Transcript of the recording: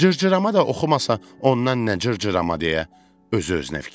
Cırcırama da oxumasa ondan nə cırcırama deyə özü-özünə fikirləşdi.